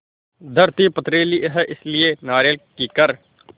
धरती पथरीली है इसलिए नारियल कीकर